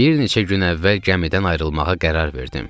Bir neçə gün əvvəl gəmidən ayrılmağa qərar verdim.